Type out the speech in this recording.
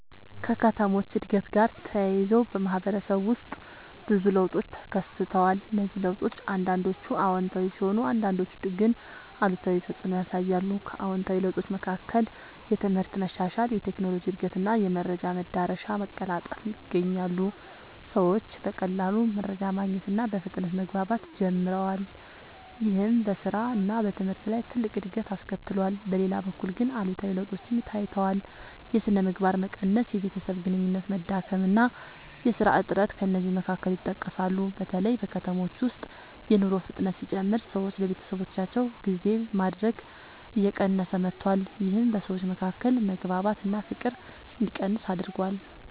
ከከተሞች እድገት ጋር ተያይዞ በማህበረሰብ ውስጥ ብዙ ለውጦች ተከስተዋል። እነዚህ ለውጦች አንዳንዶቹ አዎንታዊ ሲሆኑ አንዳንዶቹ ግን አሉታዊ ተፅዕኖ ያሳያሉ። ከአዎንታዊ ለውጦች መካከል የትምህርት መሻሻል፣ የቴክኖሎጂ እድገት እና የመረጃ መዳረሻ መቀላጠፍ ይገኛሉ። ሰዎች በቀላሉ መረጃ ማግኘት እና በፍጥነት መግባባት ጀምረዋል። ይህም በስራ እና በትምህርት ላይ ትልቅ እድገት አስከትሏል። በሌላ በኩል ግን አሉታዊ ለውጦችም ታይተዋል። የሥነ ምግባር መቀነስ፣ የቤተሰብ ግንኙነት መዳከም እና የሥራ እጥረት ከእነዚህ መካከል ይጠቀሳሉ። በተለይ በከተሞች ውስጥ የኑሮ ፍጥነት ሲጨምር ሰዎች ለቤተሰባቸው ጊዜ ማድረግ እየቀነሰ መጥቷል። ይህም በሰዎች መካከል መግባባት እና ፍቅር እንዲቀንስ አድርጓል።